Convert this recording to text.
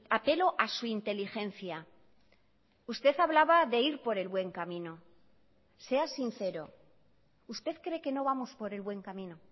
apelo a su inteligencia usted hablaba de ir por el buen camino sea sincero usted cree que no vamos por el buen camino